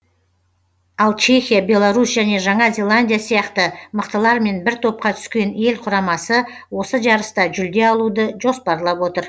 ал чехия беларусь және жаңа зеландия сияқты мықтылармен бір топқа түскен ел құрамасы осы жарыста жүлде алуды жоспарлап отыр